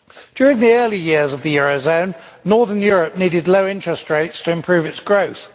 During the early years of the eurozone, northern Europe needed low interest rates to improve its growth.